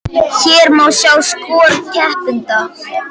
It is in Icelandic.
Hér má sjá skor keppenda